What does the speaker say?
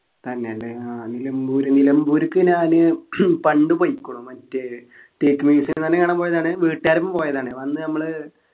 തന്നെല്ലേ ആഹ് നിലംബൂര് നിലംബൂര്ക്ക് ഞാന് പണ്ട് പോയിക്കുണു മറ്റേ തേക്ക് museum തന്നെ കാണാൻ പോയതാണ് വീട്ടുകാരൊപ്പം പോയതാണ് അപ്പൊ അന്ന് നമ്മള്